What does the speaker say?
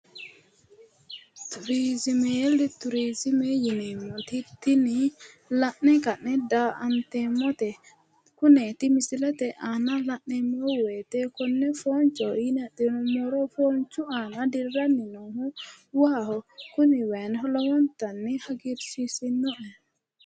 Turiziime. Turiziime yineemmoti Tini la'ne ka'ne daa"anteemmote. Kuneeti misilete aana la'neemmo woyite konne foochoho yine adhinummoro foonchu aana dirranni noohu waaho. Kuni wayino lowontanni hagiirsiisinoho.